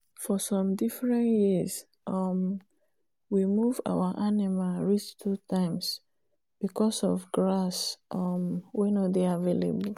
for some different years um we move our animal reach two times because of grass um wen nor dey avalaible